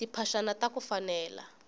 timphaxani taku fanela